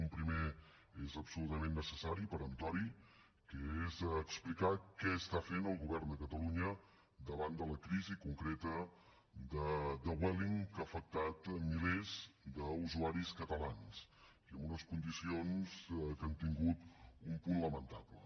un primer és absolutament necessari i peremptori que és explicar què està fent el govern de catalunya davant de la crisi concreta de vueling que ha afectat milers d’usuaris catalans i amb unes condicions que han tingut un punt lamentable